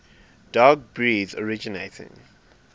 dog breeds originating